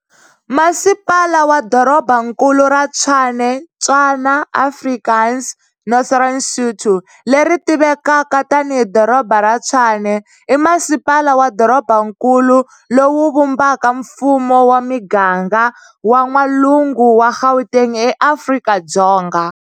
Masipala wa Dorobankulu ra Tshwane Tswana, Afrikaans, Northern Sotho, leri tivekaka tani hi Doroba ra Tshwane, i masipala wa dorobankulu lowu vumbaka mfumo wa miganga wa n'walungu wa Gauteng eAfrika-Dzonga.